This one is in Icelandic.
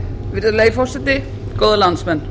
virðulegi forseti góðir landsmenn